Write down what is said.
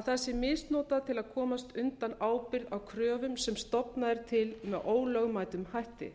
að það sé misnotað til að komast undan ábyrgð á kröfum sem stofnað er til með ólögmætum hætti